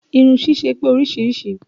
Irun ṣíṣe pé oríṣiríṣìí